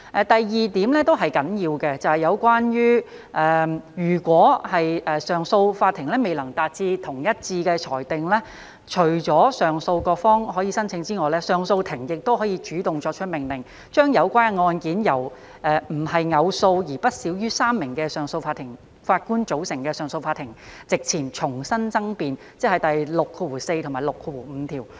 第二點也是很重要的，便是有關如果上訴法庭未能作出一致的裁定，除了上訴各方可以申請外，上訴法庭亦可主動作出命令，將有關的案件由非偶數，並且不少於3名的上訴法庭法官組成的上訴法庭席前重新爭辯，即第64和65條。